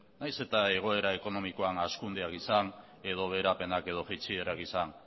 nahiz eta egoera ekonomikoan hazkundea izan edo beherapenak edo jaitsierak izan